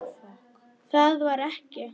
Það varð ekki.